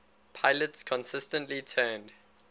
pilots consistently turned